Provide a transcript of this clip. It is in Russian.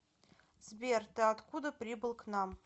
сбер ты откуда прибыл к нам